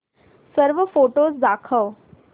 सर्व फोटोझ दाखव